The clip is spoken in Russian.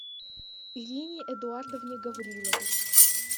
ирине эдуардовне гавриловой